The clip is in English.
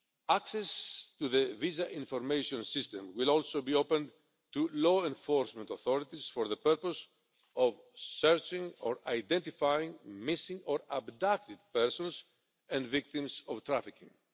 Access to the VIS will also be opened to law enforcement authorities for the purpose of searching or identifying missing or abducted persons and victims of trafficking.